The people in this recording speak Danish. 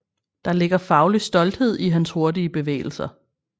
Der ligger faglig stolthed i hans hurtige bevægelser